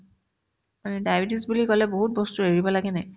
উম্, diabetes বুলি ক'লে বহুত বস্তু এৰিব লাগে নে